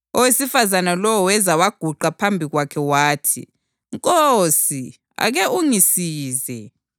Owesifazane lowo weza waguqa phambi kwakhe wathi, “Nkosi, ake ungisize.”